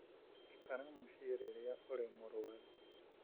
Ikara mũciĩ rĩrĩa ũrĩ mũrũaru.